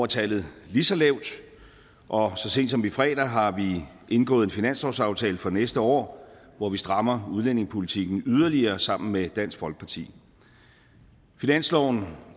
tallet lige så lavt og så sent som i fredags har vi indgået en finanslovsaftale for næste år hvor vi strammer udlændingepolitikken yderligere sammen med dansk folkeparti finansloven